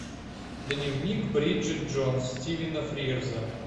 дневник бриджит джонс стивена фрирза